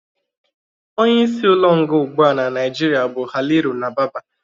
Onye isi ụlọ nga ụgbụa n'Naijiria bụ Haliru Nababa